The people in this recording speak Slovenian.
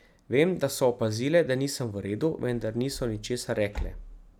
Vem, da so opazile, da nisem v redu, vendar niso ničesar rekle.